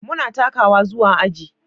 Muna takawa zuwa aji.